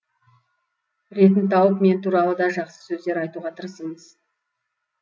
ретін тауып мен туралы да жақсы сөздер айтуға тырысыңыз